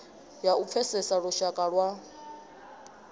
ya u pfesesa lushaka lwa